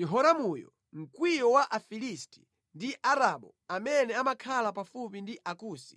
Yehoramuyo mkwiyo wa Afilisti ndi Aarabu amene amakhala pafupi ndi Akusi.